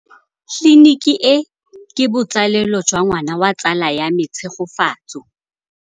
Tleliniki e, ke botsalêlô jwa ngwana wa tsala ya me Tshegofatso.